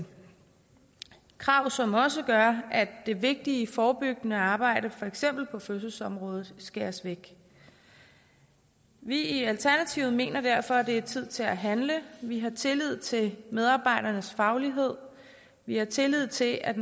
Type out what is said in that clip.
krav som også gør at det vigtige forebyggende arbejde for eksempel på fødselsområdet skæres væk vi i alternativet mener derfor at det er tid til at handle vi har tillid til medarbejdernes faglighed vi har tillid til at